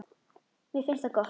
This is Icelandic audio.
Mér finnst það gott.